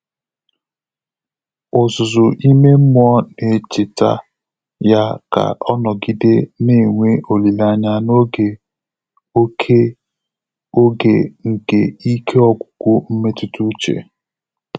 Ọ́zụ́zụ́ ímé mmụ́ọ́ nà-échètá yá kà ọ́ nọ́gídé nà-ènwé ólílé ányá n’ógè òké óge nké íké ọ́gwụ́gwụ́ mmétụ́tà úchè.